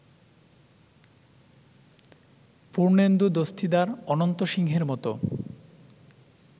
পূর্ণেন্দু দস্তিদার, অনন্ত সিংহের মতো